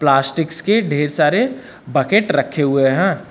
Plastics के ढेर सारे बकेट रखे हुए हैं।